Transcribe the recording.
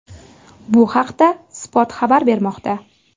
Bu haqda Spot xabar bermoqda .